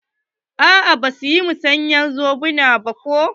A'a basu yi musayar zobuna ba ko.